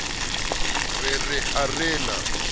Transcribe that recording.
re re ha re na